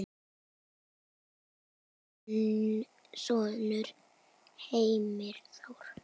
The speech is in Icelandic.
Þinn sonur Heimir Þór.